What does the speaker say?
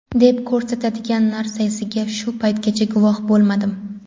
deb ko‘rsatadigan narsasiga shu paytgacha guvoh bo‘lmadim.